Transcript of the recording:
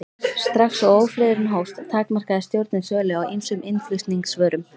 Strax og ófriðurinn hófst, takmarkaði stjórnin sölu á ýmsum innflutningsvörum.